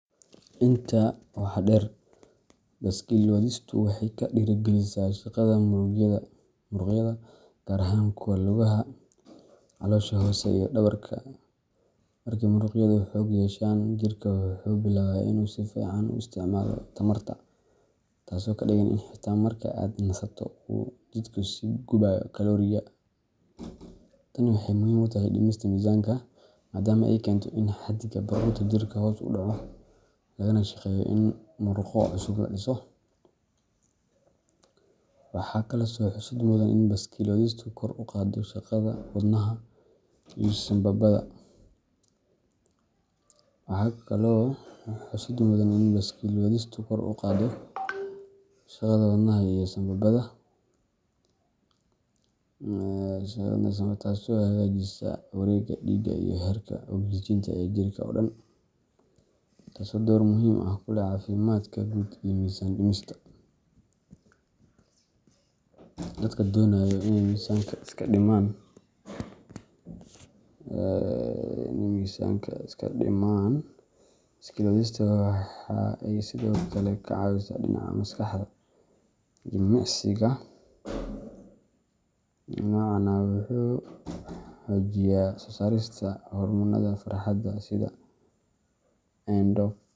Intaa waxaa dheer, baaskiil wadistu waxa ay dhiirigelisaa shaqada muruqyada, gaar ahaan kuwa lugaha, caloosha hoose, iyo dhabarka. Markii muruqyadu xoog yeeshaan, jirka wuxuu bilaabaa in uu si fiican u isticmaalo tamarta, taasoo ka dhigan in xitaa marka aad nasato uu jidhku sii gubayo kalooriyo. Tani waxay muhiim u tahay dhimista miisaanka, maadaama ay keento in xadiga baruurta jirka hoos u dhaco, lagana shaqeeyo in murqo cusub la dhiso. Waxaa kaloo xusid mudan in baaskiil wadistu kor u qaado shaqada wadnaha iyo sambabada, taasoo hagaajisa wareegga dhiigga iyo heerka ogsijiinta ee jirka oo dhan, taasoo door muhiim ah ku leh caafimaadka guud iyo miisaan dhimista. Dadka doonaya inay miisaanka iska dhimaan, baaskiil wadista waxa ay sidoo kale ka caawisaa dhinaca maskaxda. Jimicsiga noocan ah wuxuu xoojiyaa soo saarista hormoonnada farxadda sida.